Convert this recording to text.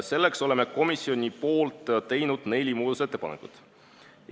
Selleks oleme komisjoni poolt teinud neli muudatusettepanekut.